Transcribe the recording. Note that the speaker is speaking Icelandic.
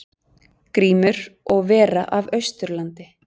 Grímur og vera af Austurlandi.